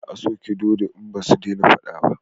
Za a sake dodo in basu dena fada ba